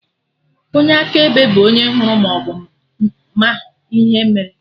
Onye akaebe bụ onye hụrụ maọbụ ma ihe mere